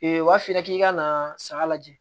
u b'a f'i ɲɛna k'i ka na saga lajɛ